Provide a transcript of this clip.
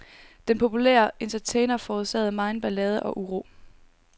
Den populære entertainer forårsagede megen ballade og uro.